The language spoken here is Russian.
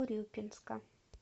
урюпинска